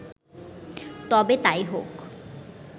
তবে তাই হোক